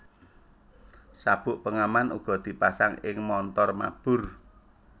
Sabuk pengaman uga dipasang ing montor mabur